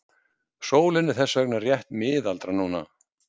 Sólin er þess vegna rétt miðaldra núna.